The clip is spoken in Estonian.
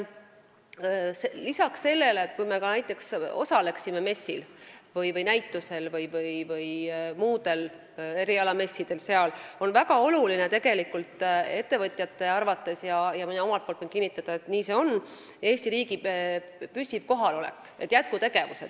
Isegi kui me näiteks osaleksime sealsetel näitustel või erialamessidel, siis on ettevõtjate arvates siiski väga oluline Eesti riigi püsiv kohalolek, jätkutegevused.